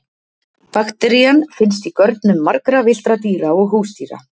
bakterían finnst í görnum margra villtra dýra og húsdýra